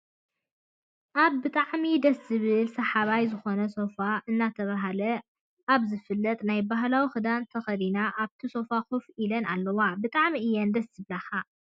ኣበ ብጣዐሚ ደስ ዝብል ስሓባይ ዝኮነ ሶፋ እናተባህ ለ ኣበ ዝፍለጥ ናይ ባህላዊ ክዳን ተከዲነን ኣበቲ ሶፋ ከፍ ኢለን ኣለዋ። ብጣዐሚ እየን ደስ ዝብላካ ።